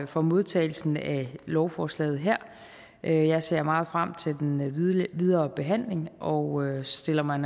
for modtagelsen af lovforslaget her jeg ser meget frem til den videre behandling og stiller mig